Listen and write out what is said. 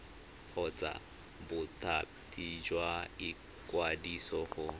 kgotsa bothati jwa ikwadiso go